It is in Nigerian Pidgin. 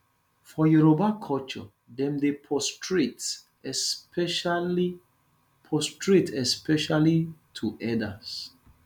for yoruba culture dem dey prostrate especially prostrate especially to elders